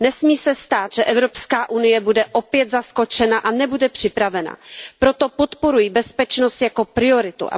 Nesmí se stát, že EU bude opět zaskočena a nebude připravena, proto podporuji bezpečnost jako prioritu.